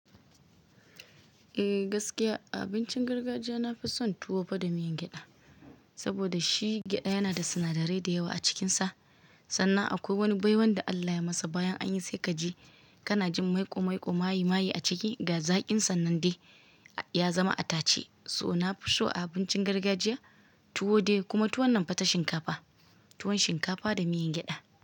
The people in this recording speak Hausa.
Eh gaskiya a abincin gargajiya nafi son tuwo fa da miyan gyaɗa, saboda shi gyaɗa yana da sinadarai da yawa a cikinsa. Sannan akwai wani baiwan da Allah ya masa, bayan anyi sai kaji, kana jin maiƙo-maiƙo, mayi-mayi a ciki ga zaƙinsan nan dai ya zama a tace. So nafi so a abincin gargajiya tuwo dai, kuma tuwon nan fa ta shinkafa, tuwon shinkafa da miyan gyaɗa.